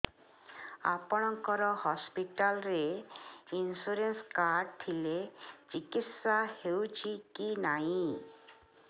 ଆପଣଙ୍କ ହସ୍ପିଟାଲ ରେ insurance card ଥିଲେ ଚିକିତ୍ସା ହେଉଛି କି ନାଇଁ